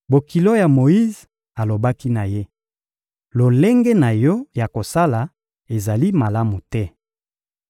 Bokilo ya Moyize alobaki na ye: — Lolenge na yo ya kosala ezali malamu te.